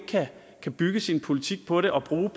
kan bygge sin politik på det og bruge